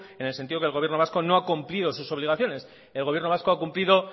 en el sentido que el gobierno vasco no ha cumplido sus obligaciones el gobierno vasco ha cumplido